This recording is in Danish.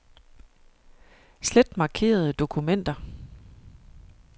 Slet markerede dokumenter.